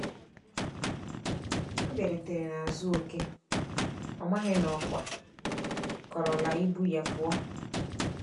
Ọ biarutere n'azu oke, ọmaghi na ọkwa kọrọ la ibụ ya puọ